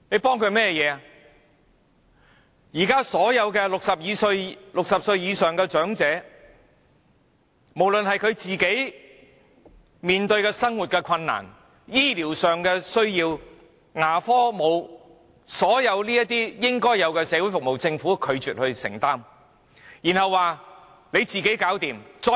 對於現時所有60歲或以上的長者所面對的生活困難，以至他們所需的醫療服務、牙科服務和所有應有的社會服務，政府均拒絕承擔責任。